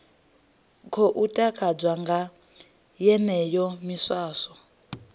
khou takadzwa nga yeneyo miswaswo